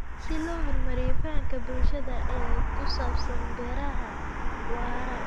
Si loo horumariyo fahamka bulshada ee ku saabsan beeraha waara.